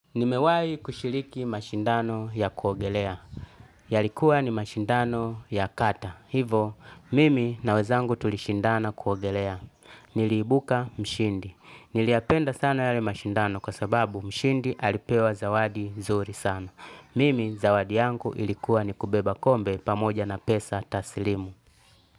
Nimewahi kushiriki mashindano ya kuogelea. Yalikuwa ni mashindano ya kata. Hivo, mimi na wezangu tulishindana kuogelea. Niliibuka mshindi. Niliyapenda sana yale mashindano kwa sababu mshindi alipewa zawadi zuri sana. Mimi zawadi yangu ilikuwa ni kubeba kombe pamoja na pesa tasilimu.